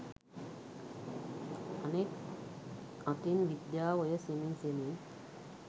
අනෙක් අතින් විද්‍යාව ඔය සෙමින් සෙමින්